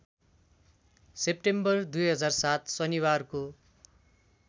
September २००७ शनिबारको